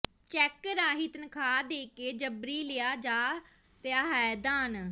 check ਰਾਹੀਂ ਤਨਖਾਹ ਦੇ ਕੇ ਜਬਰੀ ਲਿਆ ਜਾ ਰਿਹਾ ਹੈ ਦਾਨ